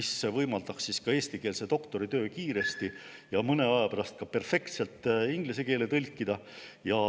See võimaldaks eestikeelse doktoritöö kiiresti ja mõne aja pärast ka perfektselt inglise keelde tõlkida.